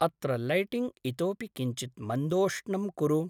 अत्र लैटिङ्ग् इतोऽपि किञ्चित् मन्दोष्णं कुरु।